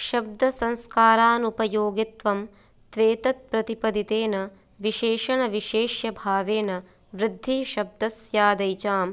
शब्दसंस्कारानुपयोगित्वं त्वेतत्प्रतिपदितेन विशेषणविशेष्यभावेनवृद्धिशब्दस्यादैचां